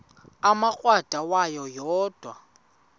umrweqe wayo yoonda